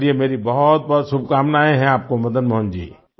चलिए मेरी बहुतबहुत शुभकामनाएँ हैं आपको मदन मोहन जी